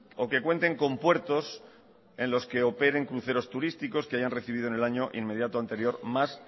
o que cuenten con puertos en los que operen cruceros turísticos que hayan recibido en el año inmediato anterior más